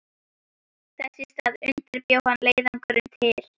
Þess í stað undirbjó hann leiðangurinn til